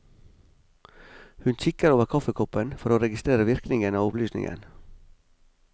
Hun kikker over kaffekoppen for å registrere virkningen av opplysningen.